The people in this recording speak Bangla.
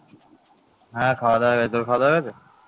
হ্যাঁ খাওয়া দাওয়া হয়ে গেছে, তোর খাওয়া দাওয়া হয়ে গেছে?